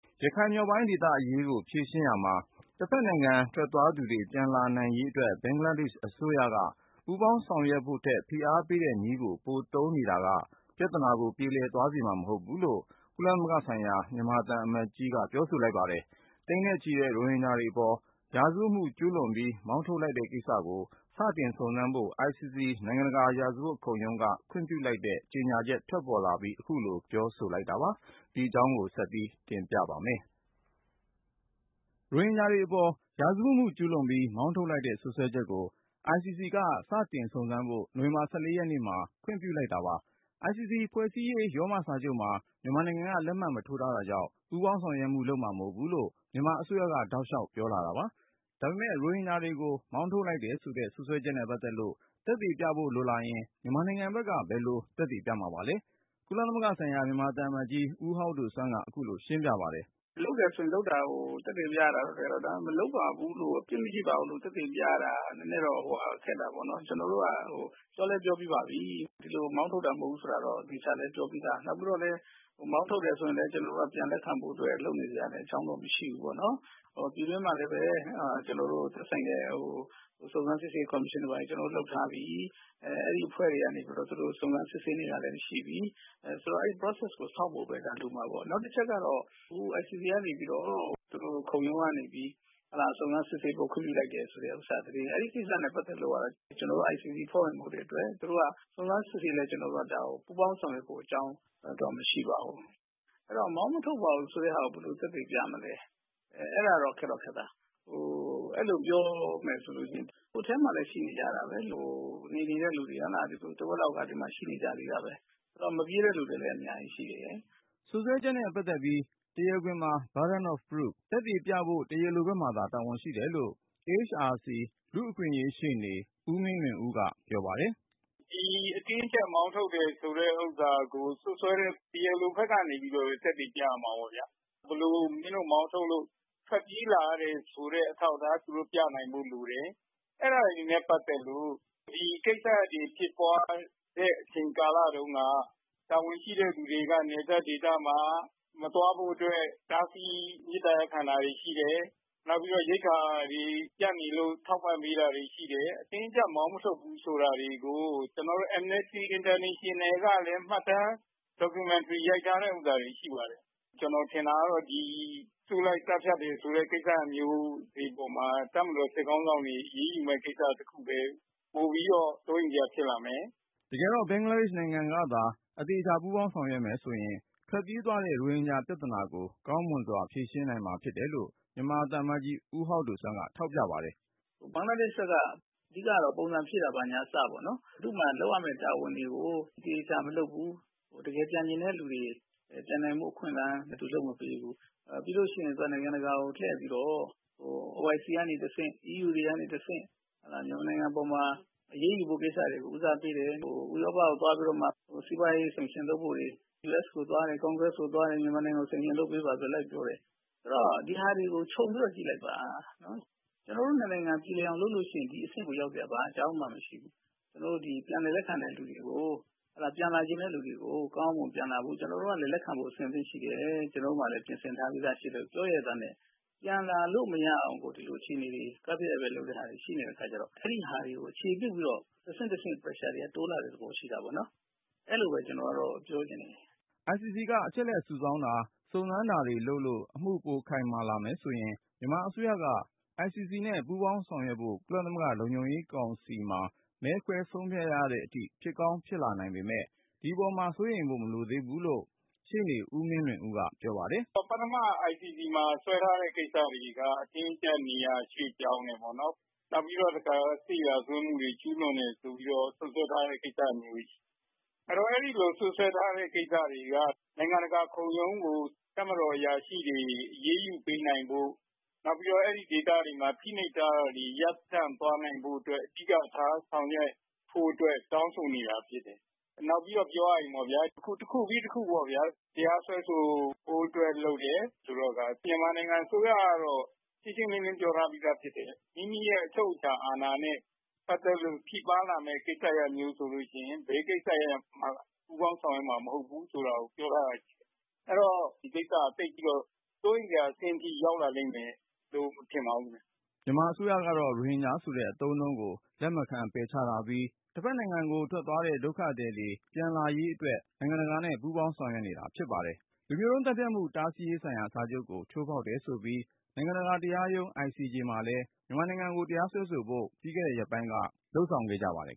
ရခိုင် မြောက်ပိုင်းဒေသအရေးကို ဖြေရှင်းရာမှာ တဖက်နိုင်ငံထွက်သွားသူတွေ ပြန်လာနိုင်ရေးအတွက် ဘင်္ဂလားဒေ့ရှ်အစိုးရက ပူးပေါင်း ဆောင်ရွက်ဖို့ထက် ဖိအားပေးတဲ့နည်းကို ပိုသုံးနေတာက ပြဿနာတွေကို ပြေလည်သွားစေမှာ မဟုတ်ဘူးလို့ ကုလသမဂ္ဂဆိုင်ရာ မြန်မာ သံအမတ်ကြီးက ပြောဆိုလိုက်ပါတယ်။ သိန်းနဲ့ချီတဲ့ ရိုဟင်ဂျာတွေအပေါ် ရာဇဝတ်မှုကျူးလွန်ပြီး မောင်းထုတ်လိုက်တဲ့ကိစ စတင် စုံစမ်းဖို့ ICC နိုင်ငံတကာ ရာဇဝတ်ခုံရုံးက ခွင့်ပြုလိုက်တဲ့ ကြေညာချက်ထွက်ပေါ်လာအပြီး ပြောဆိုလိုက်တာပါ။ ဒီအကြောင်း ကိုဉာဏ်ဝင်းအောင်က တင်ပြထားပါတယ်။ ရိုဟင်ဂျာတွေအပေါ် ရာဇဝတ်မှုကျူးလွန်ပြီး မောင်းထုတ်လိုက်တဲ့ စွပ်စွဲချက်ကို ICC က စတင်စုံစမ်းဖို့ နိုဝင်ဘာ ရက်နေ့မှာ ခွင့်ပြုလိုက် ပါတယ်။ ICC ဖွဲ့စည်းရေး ရောမစာချုပ်မှာ မြန်မာနိုင်ငံက လက်မှတ် မထိုးထားတာကြောင့် ပူးပေါင်းဆောင်ရွက်မှု လုပ်မှာ မဟုတ်ဘူးလို့ မြန်မာအစိုးရက တောက်လျှောက်ပြောလာတာပါ။ ဒါပေမဲ့ ရိုဟင်ဂျာတွေကို မောင်းထုတ်လိုက်တယ်ဆိုတဲ့ စွပ်စွဲချက်နဲ့ပတ်သက်လို့ သက်သေပြဖို့ လိုလာရင် မြန်မာနိုင်ငံဘက်က ဘယ်လို သက်သေပြမှာပါလဲ။ ကုလသမဂ္ဂဆိုင်ရာ မြန်မာသံအမတ်ကြီး ဦးဟောက်ဒိုဆွမ်းက အခုလို ရှင်းပြ ပါတယ်။ “လုပ်တယ်ဆိုရင် လုပ်တာကို သက်သေပြရမှာပဲ။ ဒါပေမယ့် မလုပ်ပါဘူးလို့ ၊ အပြစ်မရှိပါဘူးလို့ သက်သေပြရတာ နည်းနည်းတော့ ခက်တာပေါ့နော်။ ကျနော်တို့က ပြောလည်း ပြောပြီးပါပြီ ဒီလိုမောင်းထုတ်တာ မဟုတ်ဘူးဆိုတာကို သေချာလည်းပြောပြီးသား။ မောင်းထုတ်တယ်ဆိုရင်လည်း ကျနော်တို့က ပြန်လက်ခံဖို့ လုပ်နေစရာအကြောင်းမရှိဘူးပေါ့နော်။ ပြည်တွင်းမှာလည်း ကျနော်တို့ သက်ဆိုင်တဲ့ စုံစမ်းစစ်ဆေးရေးကော်မရှင်တို့ဘာတို့ ကျနော်တို့ လုပ်ထားပြီ။ အဲဒီအဖွဲ့တွေကနေပြီးတော့ စုံစမ်းစစ်ဆေးနေတာတွေလည်း ရှိပြီ။ ဆိုတော့ အဲဒီ Process ကို စောင့်ဖို့ပဲ လိုမှာပေါ့နော်။ နောက်တချက်ကတော့ အခု ICC ကနေပြီးတော့ သူတို့ ခုံရုံးကနေ စုံစမ်းစစ်ဆေးဖို့ ခွင့်ပြုလိုက်တယ်ဆိုတာ ပတ်သက်လို့ ကျနော်တို့က ICC အဖွဲ့ဝင်မဟုတ်တဲ့အတွက် စုံစမ်းစစ်ဆေးလည်း ကျနော်တို့က ပူးပေါင်းဆောင်ရွက်ဖို့ အကြောင်းမရှိပါဘူး။ အဲဒီတော့ မောင်းမထုတ်ပါဘူးဆိုတာကို ဘယ်လို သက်သေပြမလဲ။ အဲဒါတော့ ခက်တော့ ခက်သား။ အဲဒါပြောမယ်ဆိုရင် အထဲမှာလည်း ရှိနေကြတာပဲ နေနေတဲ့သူတွေ တဝက်လောက်ကလည်း ဒီမှာ ရှိနေကြတာပဲ။ မပြေးတဲ့လူတွေလည်း အများကြီးရှိတယ်။” စွပ်စွဲချက်နဲ့ပတ်သက်ပြီး တရားခွင်မှာ Burden of Proof သက်သေပြဖို့ တရားလိုဘက်မှာသာ တာဝန်ရှိတယ်လို့ AHRC လူ့အခွင့်အရေး ရှေ့နေ ဦးမင်းလွင်ဦးက ပြောပါတယ်။ “ဒီအတင်းအကျပ် မောင်းထုတ်တယ်ဆိုတာကို စွပ်စွဲတဲ့ တရားလိုဘက်ကနေပြီးတော့ပဲ သက်သေပြရမှာပေါ့ဗျာ ။ ဘယ်လိုမောင်းထုတ်လို့ ထွက်ပြေးလာရတယ်ဆိုတဲ့ အထောက်အထားပြနိုင်ဖို့လိုတယ်။ အဲဒါတွေနဲ့ ပတ်သက်လို့ ဖြစ်ပွားတဲ့ အချိန်ကာလတုန်းက တာဝန်ရှိသူတွေက နယ်စပ်ဒေသမှာ မသွားဖို့အတွက် တားဆီး မေတ္တာရပ်ခံတာတွေရှိတယ်။ နောက်ပြီးတော့ ရိက္ခာတွေပြတ်နေလို့ ထောက်ပံ့ပေးတာတွေရှိတယ်။ အတင်းအကျပ်မောင်းမထုတ်ဘူးဆိုတာကို ကျနော်တို့ Amnesty International ကလည်း မှတ်တမ်း documentary ရိုက်ထားတာတွေရှိပါတယ်။ ကျနော်ထင်တာကတော့ အုပ်စုလိုက် သတ်ဖြတ်တယ်ဆိုတဲ့ တပ်မတော် စစ်ခေါင်းဆောင်တွေ အရေးယူမယ် ပိုပြီးတော့ စိုးရိမ်စရာတွေ ဖြစ်လာမယ်။” တကယ်တော့ ဘင်္ဂလားဒေ့ရှ်နိုင်ငံကသာ အသေအချာ ပူးပေါင်းဆောင်ရွက်မယ်ဆိုရင် ထွက်ပြေးသွားကြတဲ့ ရိုဟင်ဂျာပြဿနာကို ကောင်းမွန်စွာ ဖြေရှင်းနိုင်မှာ ဖြစ်တယ်လို့ အမတ်ကြီး ဦးဟောက်ဒိုဆွမ်းက ထောက်ပြပါတယ်။ “ဘင်္ဂလားဒေ့ရှ် ဘက်က အဓိကတော့ ပုံစံဖြည့်တာကအစပေါ့နော် ၊ သူ့မှာ လုပ်ရမယ့် တာဝန်တွေကို သေချာမလုပ်ဘူး ။ တကယ်ပြန်ချင်တဲ့လူတွေ ပြန်နိုင်ဖို့အခွင့်အရေး သူလိုက်မပေးဘူး။ ပြီးရင် သူက နိုင်ငံတကာကို လှည့်ပြီးတော့ OIC ကနေ တဆင့် EU ကနေတဆင့် မြန်မာနိုင်ငံအပေါ်မှာ အရေးယူဖို့ ဦးစားပေးတယ်။ ဥရောပကို သွားပြီးတော့မှ စီးပွားရေး sanction လုပ်ဖို့တွေ US ကို သွားရင် congress ကိုသွားရင် မြန်မာနိုင်ငံကို sanction လုပ်ပေးပါဆိုတာတွေ လိုက်ပြောတယ်။ ဆိုတော့ ဒါတွေကို ခြုံပြီးတော့ ကြည့်လိုက်ပါ ကျနော်တို့ ၂ နိုင်ငံ ပြေလည်အောင်လုပ်ရင် ဒီအဆင့်ကို ရောက်စရာမရှိဘူး ကျနော်တို့ ပြန်လည်လက်ခံတဲ့သူတွေကို ကောင်းကောင်းမွန်မွန်ပြန်လာဖို့၊ ကျနော်တို့ကလည်း ပြန်လည်လက်ခံဖို့ အဆင်သင့်ရှိတယ်၊ ကျနော်တို့မှာလည်း ပြင်ဆင်ထားပြီးသားရှိတယ်လို့ ပြောရဲ့သားနဲ့ ပြန်လာလို့ မရအောင် ဒီလိုအခြေအနေတွေ လုပ်နေတာတွေရှိတဲ့အခါကျတော့ အဲဒါတွေကို အခြေပြုပြီးတော့ တဆင့်တဆင့် pressure တွေက တိုးလာတဲ့အခြေအနေတွေ ရှိတာပေါ့နော် အဲလိုပဲ ကျနော်ပြောချင်တယ်။” ICC ကအချက်အလက် ရှာဖွေစုဆောင်းတာ စုံစမ်းတာတွေလုပ်လို့ အမှုပိုခိုင်မာလာရင် မြန်မာအစိုးရက ICC နဲ့ ပူးပေါင်းဆောင်ရွက်ဖို့ ကုလသမဂ္ဂလုံခြုံရေးကောင်စီမှာ မဲခွဲဆုံးဖြတ်ရတဲ့အထိ ဖြစ်ကောင်း ဖြစ်လာနိုင်ပေမယ့် ဒီအပေါ်မှာ စိုးရိမ်ဖို့ မလိုသေးဘူးလို့ ရှေ့နေ ဦးမင်းလွင်ဦးက ပြောပါတယ်။ “ ပထမ ICC မှာ စွဲထားတဲ့ အတင်းအကျပ် နေရာရွှေ့ပြောင်းတယ်ပေါ့နော်။ နောက်ပြီးတော့ တခါ စစ်ရာဇဝတ်မှုတွေ ကျူးလွန်တယ်ဆိုပြီးတော့ စွပ်စွဲထားတဲ့ ရှိတယ်။ အဲဒီလို စွပ်စွဲထားတဲ့ နိုင်ငံတကာ ခုံရုံးကို တပ်မတော်အရာရှိတွေ အရေးယူပေးနိုင်ဖို့ ၊ နောက်ပြီးတော့ အဲဒီဒေသတွေမှာ ဖိနှိပ်ထားတာတွေ ရပ်တန့်သွားနိုင်ဖို့အတွက် အဓိကထားဆောင်ရွက်ဖို့အတွက် တောင်းဆိုနေတာဖြစ်တယ်။ နောက်ပြီးတော့ ပြောရရင် အခုတခုပြီးတခု တရားစွဲဆိုဖို့အတွက်လုပ်တယ်ဆိုတော့ မြန်မာနိုင်ငံအစိုးရကတော့ ရှင်းရှင်းလင်းလင်းပြောထားပြီးသားဖြစ်တယ် မိမိအချုပ်အခြာအာဏာနဲ့ ပတ်သက်လို့ ထိပါးလာမယ့် ပူးပေါင်းဆောင်ရွက်မှာမဟုတ်ဘူးဆိုတာကို ပြောထားတာရှိတယ်။ အဲဒီတော့ သိပ်ပြီးတော့ စိုးရိမ်စရာအဆင့်အထိ ရောက်လာမယ်လို့ မထင်ပါဘူးခင်ဗျ။” မြန်မာအစိုးရကတော့ ရိုဟင်ဂျာဆိုတဲ့ အသုံးအနှုန်းကို လက်မခံပယ်ချထားပြီး တဖက်နိုင်ငံထွက်သွားတဲ့ ဒုက္ခသည်တွေ ပြန်လာနိုင်ရေး နိုင်ငံတကာနဲ့ ပူးပေါင်းလုပ်ဆောင် နေပါတယ်။ လူမျိုးတုန်းသတ်ဖြတ်မှု တားဆီးရေးဆိုင်ရာ စာချုပ်ကို ချိုးဖောက်တယ်ဆိုပြီး နိုင်ငံတကာတရားရုံး ICJ မှာလည်း မြန်မာနိုင်ငံကို တရားစွဲဆိုဖို့ ပြီးခဲ့တဲ့ ရက်ပိုင်းက လုပ်ဆောင်ခဲ့ပါတယ်